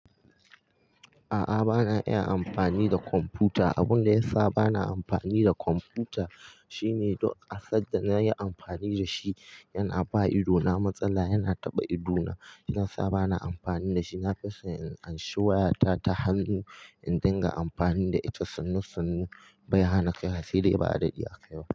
A'a bana iya amfani da kwamfuta. Abunda yasa bana amfani da kwamfuta shine duk asanda nayi amfani dashi yana bawa idona matsala, yana taɓa idona. Yana sa bana amfani dashi. Nafison in an shi wayata ta hannu in dinga amfani da ita. Sannu sannu bai hana kai wa sai dai a daɗe ba'a kai ba.